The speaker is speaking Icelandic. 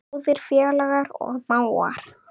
Góðir félagar og mágar.